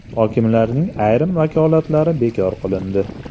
Hokimlarning ayrim vakolatlari bekor qilindi.